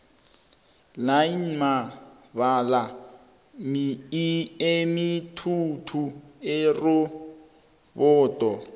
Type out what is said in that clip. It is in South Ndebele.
line mibala emithathu irobodo